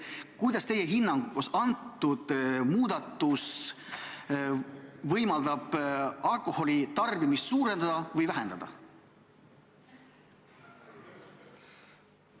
Kas teie hinnangul võimaldab see muudatus alkoholitarbimist suurendada või vähendada?